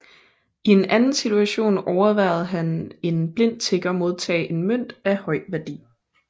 I en anden situation overværede han en blind tigger modtage en mønt af høj værdi